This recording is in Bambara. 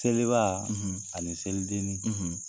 Seliba, , ani selidennin,